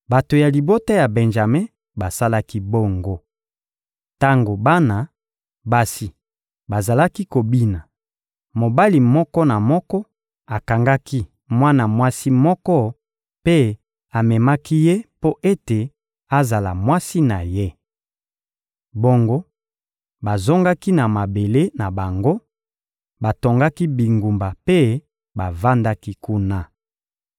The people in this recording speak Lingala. Bato ya libota ya Benjame basalaki bongo. Tango bana basi bazalaki kobina, mobali moko na moko akangaki mwana mwasi moko mpe amemaki ye mpo ete azala mwasi na ye. Bongo bazongaki na mabele na bango, batongaki bingumba mpe bavandaki kuna.